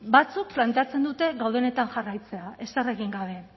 batzuk planteatzen dute gaudenetan jarraitzea ezer egin gabe